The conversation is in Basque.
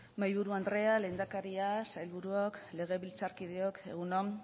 mahaiburu andrea lehendakaria sailburuok legebiltzarkideok egun on